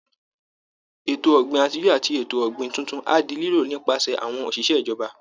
Ètò ọ̀gbìn àtijọ́ àti ètò ọ̀gbìn tuntun á di lílò nípasẹ̀ àwọn òṣìṣẹ́ ìjọba